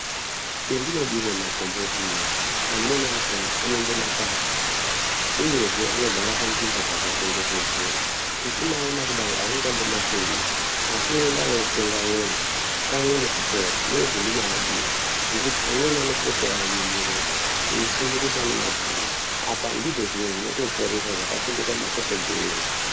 Chendinodire makomboti inini amwe achona anonga makwasha, uyezve anogara panzvimbo dzakachengetedzeka. Uchimaona kudai haungambo mafungiri asi voenda votsenga uone kamwe nekupora ndozvandinoadira. Nekuti amweni anopota einyenyeredza eifunga kuti ane mabvuri apa ndizvo zviro zvinotoporesa zvakachengeta madzitateguru edu.